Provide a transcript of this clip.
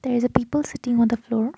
there is a people sitting on the floor.